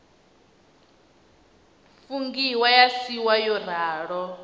fungiwa ya siiwa yo ralo